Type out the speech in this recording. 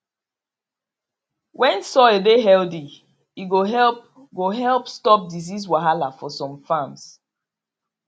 when soil dey healthy e go help go help stop disease wahala for some farms